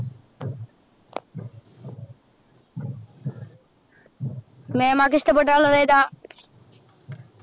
മേമാക്ക് ഇഷ്ടപെട്ട color ഏതാ?